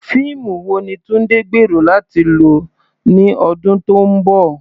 Fíìmù wo ni Tunde gbèrò láti lọ ní ọdún tó ń bọ̀?